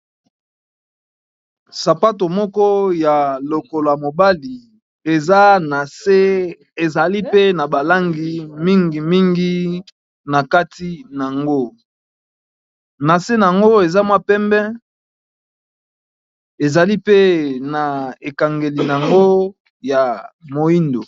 Sapato moko, ya lokolo ya mobali eza na se! ezali pe na ba langi, mingi mingi ! na kati nango, na se nango, eza mwa pembe ezali pe na ekangeli, nango ya moyindo.